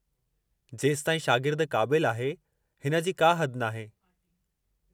जेसताईं शागिर्द क़ाबिलु आहे, हिन जी का हद नाहे।